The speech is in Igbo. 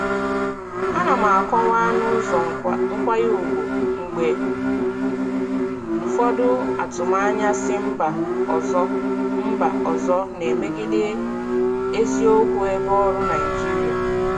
Ana m akọwa n'ụzọ nkwanye ùgwù mgbe ụfọdụ atụmanya si mba ọzọ mba ọzọ na-emegide eziokwu ebe ọrụ Naịjirịa.